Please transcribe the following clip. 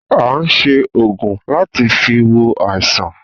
A se oògùn láti fi wo àìsàn